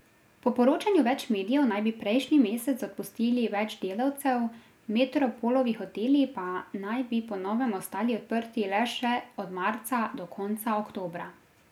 Po poročanju več medijev naj bi prejšnji mesec odpustili več delavcev, Metropolovi hoteli pa naj bi po novem ostali odprti le še od marca do konca oktobra.